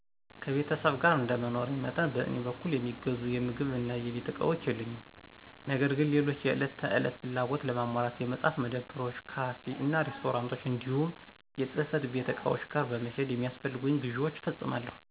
ከቤተሰብ ጋር እንደመኖሬ መጠን በእኔ በኩል የሚገዙ የምግብ እና የቤት እቃዎች የሉኝም። ነገር ግን ሌሎች የዕለት ተዕለት ፍላጎቶችን ለማሟላት የመፅሀፍት መደብሮች፣ ካፌ እና ሬስቶራንቶች እንዲሁም የፅህፈት ቤት ዕቃዎች ጋር በመሄድ የሚያስፈልጉኝን ግዥዎች እፈፅማለሁ።